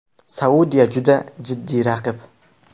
Saudiya juda jiddiy raqib.